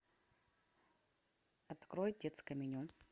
открой детское меню